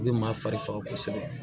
U bɛ maa fari faga kosɛbɛ